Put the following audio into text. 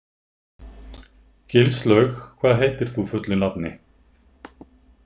Gilslaug, hvað heitir þú fullu nafni?